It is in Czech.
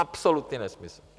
Absolutní nesmysl.